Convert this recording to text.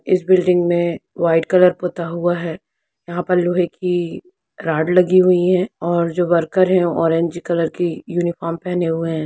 इस बिल्डिंग में white colour पोता हुआ है यहाँ पर लोहे की रॉड लगी हुई है और जो वर्कर है ऑरेंज कलर की यूनिफार्म पहने हुए है।